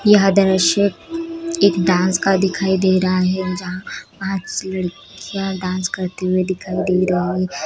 यह द्रश्य एक डांस का दिखाई दे रहा है जहां पाँच लड़कियां डांस करते हुए दिखाई दे रही हैं।